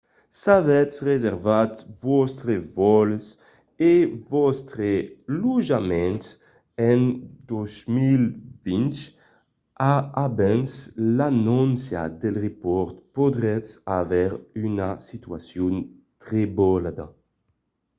s'avètz reservat vòstres vòls e vòstre lotjament per 2020 abans l'anóncia del repòrt podriatz aver una situacion trebolada